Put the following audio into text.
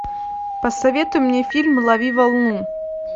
посоветуй мне фильм лови волну